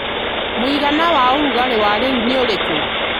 mũigana wa ũrugarĩ wa rĩu nĩ ũrĩku